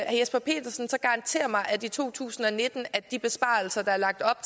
jesper petersen så garantere mig at i to tusind og nitten er de besparelser der er lagt op